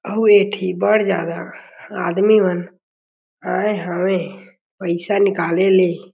अउ ए ठी बढ़ जादा आदमी मन आए हवे पईसा निकाले ले।